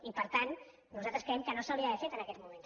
i per tant nosaltres creiem que no s’hauria d’haver fet en aquests moments